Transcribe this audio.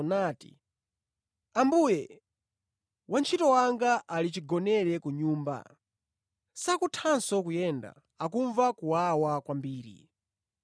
nati, “Ambuye, wantchito wanga ali chigonere ku nyumba, sakuthanso kuyenda, akumva kuwawa kwambiri.”